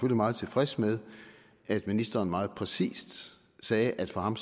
meget tilfreds med at ministeren meget præcist sagde at for ham